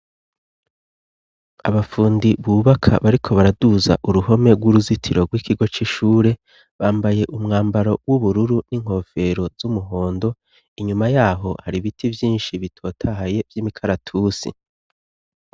Abapfundi bubaka bariko baraduza uruhome rw'uruzitiro rw'ikigo c'ishure bambaye umwambaro w'ubururu n'inkofero z'umuhondo inyuma yaho hari ibiti byinshi bitotahaye by'imikaratusi.